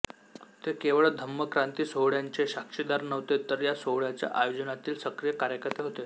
ते केवळ धम्मक्रांती सोहळ्याचे साक्षीदार नव्हते तर या सोहळ्याच्या आयोजनातील सक्रिय कार्यकर्ते होते